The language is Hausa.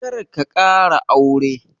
Karka ƙara aure.